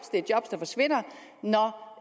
det er job der forsvinder når